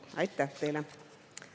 Aitäh teile!